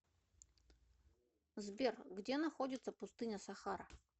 сбер где находится пустыня сахара